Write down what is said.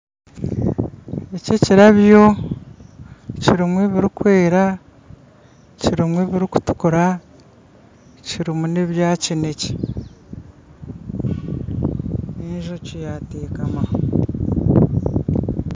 Eki ekirabyo kirimu ebirikwera kirimu ebirikutuukura kirimu n'ebya kineekye n'enjoki yateekamaho